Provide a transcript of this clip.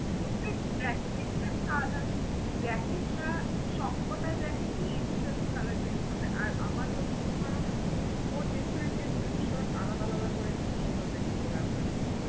ওর যে jacket টার colour jacket টা সবকটা jacket ই instant colour change করছে। আর আমার যতদূর ধারনা ও different defferent shot আলাদা আলাদা করে নিয়ে ওটাকে colaborate করেছে।